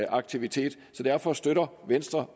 aktivitet så derfor støtter venstre